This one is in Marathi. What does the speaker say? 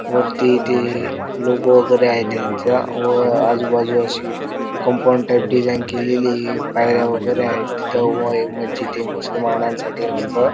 वरती ते लोगो वगैरे आहे त्यांचा व आजुबाजु अशी कपाउंड टाइप डिझाइन केलेलीये पायऱ्या वगैरे आहेत तिथ व हे मजीद हे मुसल्माना साठी असत.